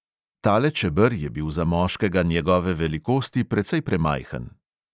Tale čeber je bil za moškega njegove velikosti precej premajhen.